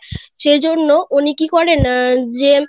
সেই জন্য উনি কি করেন যে